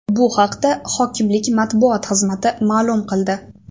Bu haqda hokimlik matbuot xizmati ma’lum qildi.